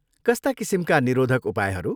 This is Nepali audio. कस्ता किसिमका निरोधक उपायहरू?